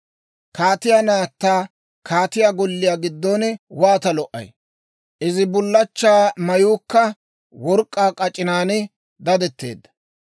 Kaatiyaa naatta kaatiyaa golliyaa giddon waata lo"ay! Izi bullachchaa mayuukka work'k'aa k'ac'inan dadetteedda.